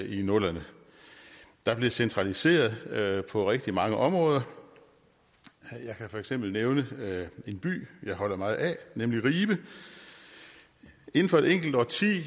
i nullerne der blev centraliseret på rigtig mange områder jeg kan for eksempel nævne en by jeg holder meget af nemlig ribe inden for et enkelt årti